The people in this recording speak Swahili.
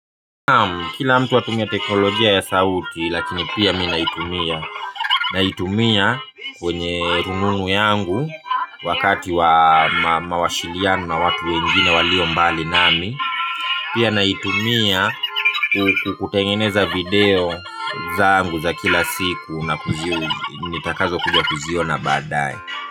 Kila mtu atumia teknolojia ya sauti lakini pia mi naitumia. Naitumia kwenye rununu yangu wakati wa mawasiliano na watu wengine walio mbali nami. Pia naitumia kutengeneza video zangu za kila siku na kuziona baadae.